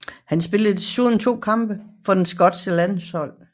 Han spillede desuden to kampe for det skotske landshold